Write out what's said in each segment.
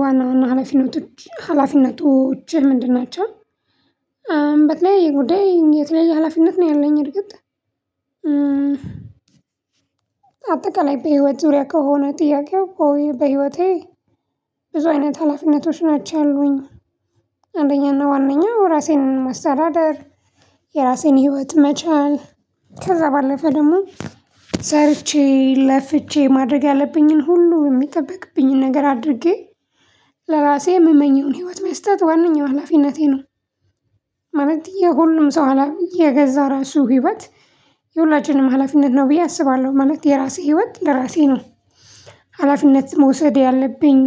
ዋና ዋና ሀላፊነቶች ሀላፊነቶችህ ምንድን ናቸው? በተለይ የተለየ የሀላፊነት ነው ያለኝ እርግጥ። አጠቃላይ በህይወት ዙሪያ ከሆነ ጥያቄው በህይወቴ ብዙ አይነት ሀላፊነቶች ናቸው ያሉኝ። አንደኛና ዋናው ራሴን ማሰተዳደር የራሴን ህይወት መቻል ከዛ ባለፈ ደግሞ ሰርቼ ለፍቼ ማድረግ ያለብኝን ሁሉ የሚጠበቅብኝን ነገር አድርጌ ለራሴ የምመኘውን ህይወት መስጠት ዋናኛው ሀላፊነቴ ነው። ማለት የሁሉም ሰው አላም የገዛ ራሱ ህይወት የሁላችንም ሀላፊነት ነው ብዬ አስባለሁ። ማለት የራሴ ህይወት ለራሴ ነው። ሀላፊነት መውሰድ ያለብኝ።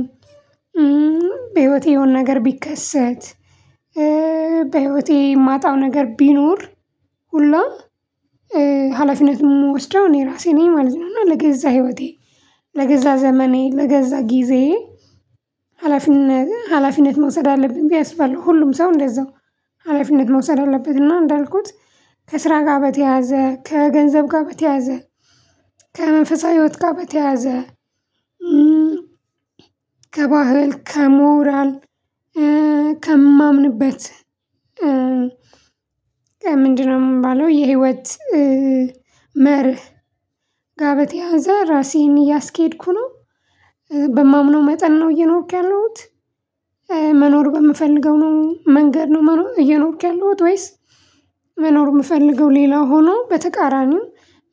በህይወቴ የሆነ ነገር ቢከሰት። በህይወቴ ማጣው ነገር ቢኖር። ሁላ ሀላፊነት የምወስደው እኔ ራሴ ነኝ ማለት ነው። እና ለገዛ ህይወቴ ለገዛ ዘመኔ ለገዛ ጊዜ ሀላፊነት ሀላፊነት መውሰድ አለብን ብዬ አስባለው። ሁሉም ሰው እንደዛው ሀላፊነት መውሰድ አለበት። እና እንዳልኩት ከስራ ጋር በተያዘ ከገንዘብ ጋር በተያዘ። ከመንፈሳዊ ህይወት ጋር በተያዘ። ከባህል ከሞራል ከማምንበት ምንድነው የምባለው የህይወት መርህ ጋ በተያያዘ ራሴን እያስኬድኩ ነው። በማምነው መጠን ነው እየኖርኩ ያለውት። መኖር በምፈልገው ነው መንገድ ነው እየኖርክ ያለው ወይስ? መኖር የምፈልገው ሌላ ሆኖ በተቃራኒው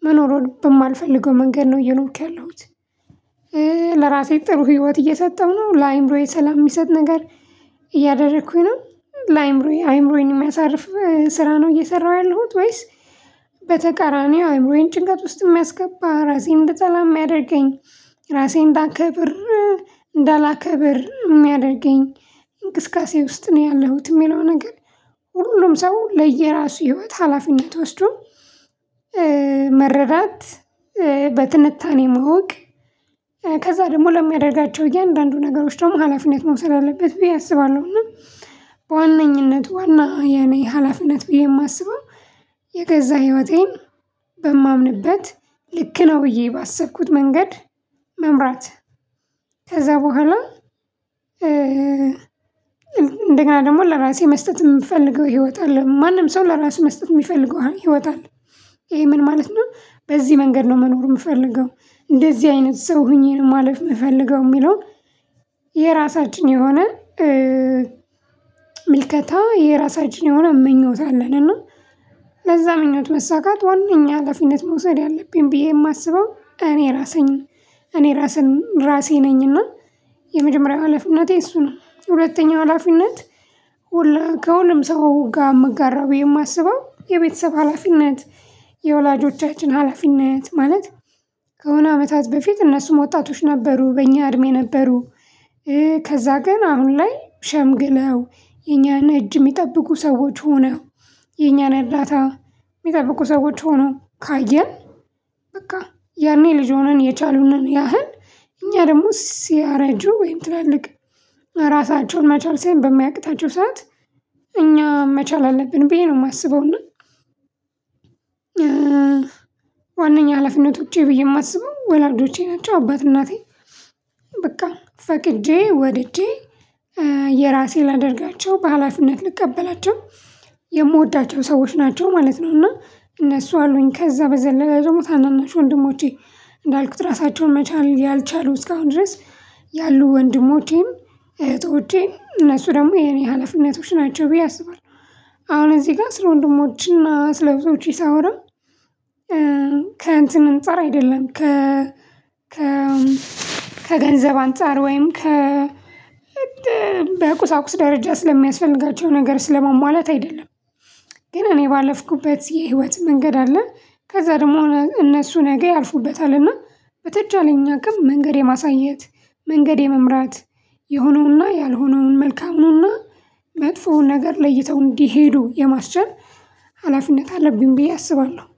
መኖር በማልፈልገው መንገድ ነው እየኖርኩ ያለሁት። ለራሴ ጥሩ ህይወት እየሰጠሁ ነው ለአእምሮዬ ሰላም የሚሰጥ ነገር። እያደረኩኝ ነው ለአእምሮዬ አእምሮዬን የሚያሳርፍ ስራ ነው እየሰራሁ ያለሁት ወይስ? በተቃራኒው አእምሮዬን ጭንቀት ውስጥ የሚያስገባ ራሴን እንደ ሰላም የሚያደርገኝ ራሴን እንዳክብር እንዳላከብር የሚያደርገኝ እንቅስቃሴ ውስጥ ነው ያለሁት የሚለው ነገር። ሁሉንም ሰው ለየራሱ ህይወት ሀላፊነት ወስዶ መረዳት። በትንታኔ ማወቅ ከዛ ደግሞ ለሚያደርጋቸው እያንዳንዱ ነገሮች ደግሞ ሀላፊነት መውሰድ አለበት ብዬ አስባለሁ። እና በዋነኝነት ዋና የኔ ሀላፊነት ብዬ የማስበው የገዛ ህይወቴን በማምንበት ልክ ነው ብዬ ባሰብኩት መንገድ መምራት። ከዛ በኋላ። እንደገና ደግሞ ለራሴ መስጠት የምፈልገው ህይወት አለ ማንም ሰው ለራሴ መስጠት የሚፈልገው ህይወታን። ይሄ ምን ማለት ነው በዚህ መንገድ ነው መኖር የምፈልገው። እንደዚህ አይነት ሰው ሆኜ ማለፍ የምፈልገው የሚለው። የራሳችን የሆነ ምልከታ የራሳችን የሆነ ምኞት አለን። እና ለዛ ምኞት መሰካት ዋናኛ ሀላፊነት መውሰድ ያለብኝ ብዬ የማስበው እኔ ራሴን እኔ ራሴን ራሴ ነኝና። የመጀመሪያው ሀላፊነቴ እሱ ነው። ሁለተኛ ሀላፊነት ከሁለቱም ሰው ጋር እምጋራ የማስበው የቤተሰብ ሀላፊነት። የወላጆቻችን ሀላፊነት ማለት ከሆነ አመታት በፊት እነሱ መውጣቶች ነበሩ በእኛ እድሜ ነበሩ። ከዛ ግን አሁን ላይ ሸምግለው እኛን እጅ የሚጠብቁ ሰዎች ሆነ። የኛን እርዳታ የሚጠብቁ ሰዎች ሆነ ካየን። በቃ ያኔ ልጅ ሆነን የቻሉንን ያህል እኛ ደግሞ ሲያረጁ ወይም ትላልቅ ራሳቸውን መቻል ሳይሆን በማያቅታቸው ሰዓት እኛ መቻል አለብን ብዬ ነው የማስበውና። እና ዋናኛ ሀላፊነት ውጪ ብዬ የማስበው ወላጆቼናቸው አባት እናቴ። በቃ ፈቅጄ ወድጄ የራሴ ላደርጋቸው በሃላፊነት ልቀበላቸው። የምወዳቸው ሰዎች ናቸው ማለት ነው። እና እነሱ አሉኝ ከዛ በዘለላ ደግሞ ታናናሽ ወንድሞቼ እንዳልኩት ራሳቸውን መቻል ያልቻሉ እስካሁን ድረስ ያሉ ወንድሞቼን እህቶቼን እነሱ ደግሞ የኔ ሀላፊነቶች ናቸው ብዬ አስባለሁ። አሁን እዚህ ጋር ስለ ወንድሞቼና ስለ ብዙዎች ሳወራ ከእንትን እንፃር አይደለም ከ ከ ከገንዘብ አንፃር ወይም ከ በቁሳቁስ ደረጃ ስለሚያስፈልግላቸው ነገር ስለማሟላት አይደለም። ግን እኔ ባለፍኩበት የህይወት መንገድ አለ። ከዛ ደግሞ እነሱ ነገ ያልፉበታልና። በተቻለኝ አቅም መንገድ የማሳየት መንገድ የመምራት የሆነውና ያልሆነውን መልካሙና መጥፎውን ነገር ለይተው እንዲሄዱ የማስቻል ሀላፊነት አለብኝ። ብዬ አስባለሁ።